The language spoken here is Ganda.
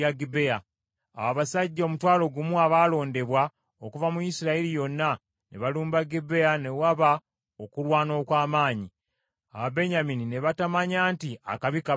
Awo abasajja omutwalo gumu abaalondebwa okuva mu Isirayiri yonna, ne balumba Gibea ne waba okulwana okw’amaanyi, Ababenyamini ne batamanya nti akabi kabajjidde.